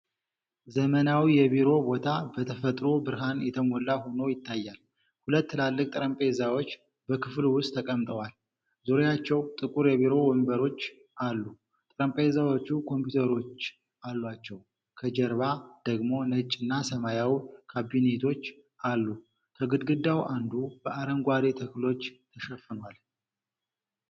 ዘመናዊ የቢሮ ቦታ፣ በተፈጥሮ ብርሃን የተሞላ ሆኖ ይታያል። ሁለት ትላልቅ ጠረጴዛዎች በክፍሉ ውስጥ ተቀምጠዋል፤ ዙሪያቸው ጥቁር የቢሮ ወንበሮች አሉ። ጠረጴዛዎቹ ኮምፒውተሮች አሏቸው፤ ከጀርባ ደግሞ ነጭና ሰማያዊ ካቢኔቶች አሉ። ከግድግዳው አንዱ በአረንጓዴ ተክሎች ተሸፍኗል።